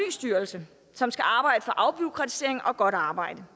styrelse som skal arbejde for afbureaukratisering og godt arbejde